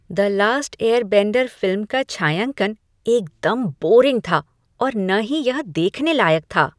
"The last airbender" film का छायांकन एकदम बोरिंग था और न ही यह देखने लायक था।